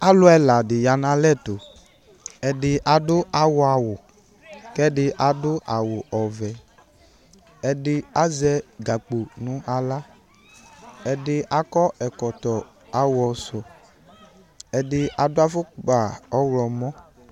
Alʋ ɛla dɩ ya nʋ alɛ tʋ Ɛdɩ adʋ aɣɔawʋ kʋ ɛdɩ adʋ awʋ ɔvɛ Ɛdɩ azɛ gakpo nʋ aɣla Ɛdɩ akɔ ɛkɔtɔ aɣɔsʋ Ɛdɩ adʋ afʋkpa ɔɣlɔmɔ